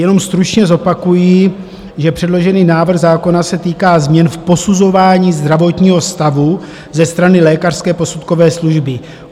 Jenom stručně zopakuji, že předložený návrh zákona se týká změn v posuzování zdravotního stavu ze strany Lékařské posudkové služby.